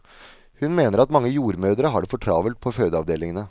Hun mener at mange jordmødre har det for travelt på fødeavdelingene.